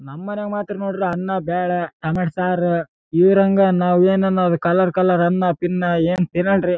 ಎರಡು ಬಿರ್ಯಾನಿಗಳಿವೆ ಮತ್ತೆ ಎರಡು ಚಮಚಗಳು ಕೂಡಾ ಹಾಕಿದ್ದಾರೆ.